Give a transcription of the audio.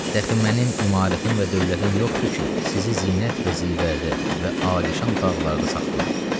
Dəxi mənim imarətim və dövlətim yoxdur ki, sizi ziyafətlərdə və alişan otaqlarda saxlayam.